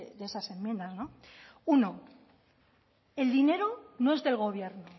de esas enmiendas no uno el dinero no es del gobierno